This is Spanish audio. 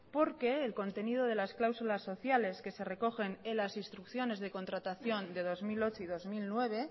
porque el contenido de las cláusulas sociales que se recogen en las instrucciones de contratación de dos mil ocho y dos mil nueve